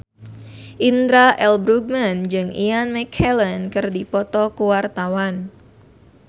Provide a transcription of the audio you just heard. Indra L. Bruggman jeung Ian McKellen keur dipoto ku wartawan